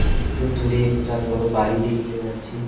একটু দূরে একটা বড় বাড়ি দেখতে পাচ্ছি।